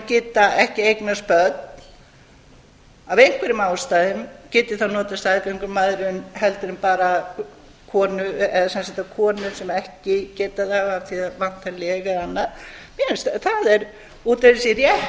geta ekki eignast börn af einhverjum ástæðum geti þá notað staðgöngumæðrun heldur en bara konur sem ekki geta það af því að þær vantar leg eða annað það er út af fyrir sig